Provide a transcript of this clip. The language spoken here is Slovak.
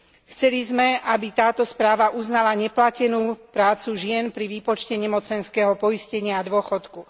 Chceli sme, aby táto správa uznala neplatenú prácu žien pri výpočte nemocenského poistenia a dôchodku.